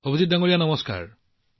অভিজিতজী নমস্কাৰ